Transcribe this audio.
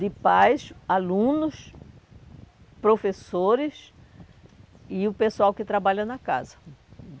De pais, alunos, professores e o pessoal que trabalha na casa.